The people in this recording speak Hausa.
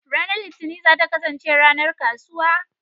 Ranar Litinin za ta kasance ranar kasuwa.